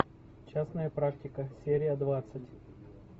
частная практика серия двадцать